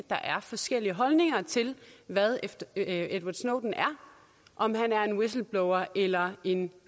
er forskellige holdninger til hvad edward snowden er om han er en whistleblower eller en